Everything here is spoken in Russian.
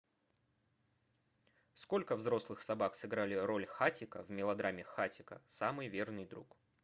сколько взрослых собак сыграли роль хатико в мелодраме хатико самый верный друг